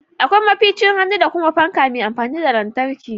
Akwai maficin hannu da kuma fanka mai amfani da lantarki